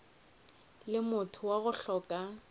le motho wa go hloka